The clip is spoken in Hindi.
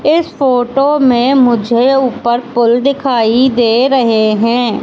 इस फोटो में मुझे ऊपर पुल दिखाई दे रहे हैं।